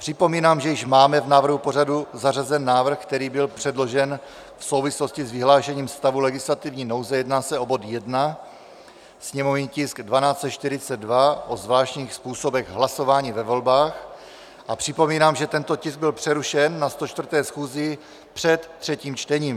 Připomínám, že již máme v návrhu pořadu zařazen návrh, který byl předložen v souvislosti s vyhlášením stavu legislativní nouze, jedná se o bod 1, sněmovní tisk 1242, o zvláštních způsobech hlasování ve volbách, a připomínám, že tento tisk byl přerušen na 104. schůzi před třetím čtením.